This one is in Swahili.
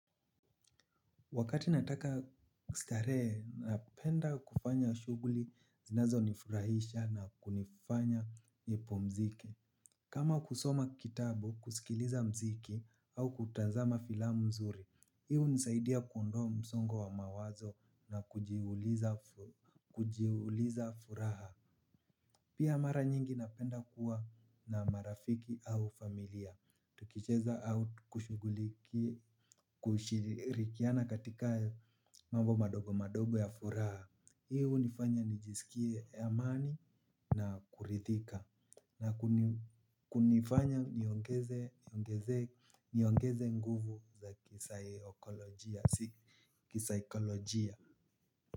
Wakati nataka kustarehe, napenda kufanya shuguli zinazo nifurahisha na kunifanya nipumziki. Kama kusoma kitabu, kusikiliza mziki au kutazama filamu nzuri, hii hunisaidia kuondoa msongo wa mawazo na kujiuliza furaha. Pia mara nyingi napenda kuwa na marafiki au familia. Tukicheza au kushiguliki kushirikiana katika mambo madogo madogo ya furaha hii hunifanya nijisikie amani na kuridhika. Na kunifanya niongeze nguvu za kisaikolojia.